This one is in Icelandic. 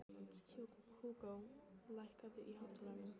Húgó, lækkaðu í hátalaranum.